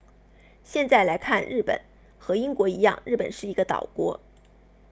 现在来看日本和英国一样日本是一个岛国